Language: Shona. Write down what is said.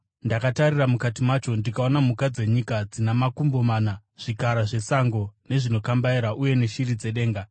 Ndakatarira mukati macho ndikaona mhuka dzenyika dzina makumbo mana, zvikara zvesango, nezvinokambaira uye neshiri dzedenga.